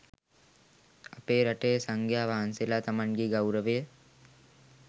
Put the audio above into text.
අපේ රටේ සංඝයා වහන්සේලා තමන්ගේ ගෞරවය